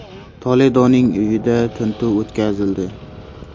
Toledoning uyida tintuv o‘tkazildi.